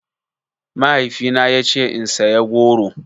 Mahaifina ya ce in saya goro.